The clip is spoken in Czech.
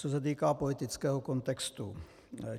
Co se týká politického kontextu.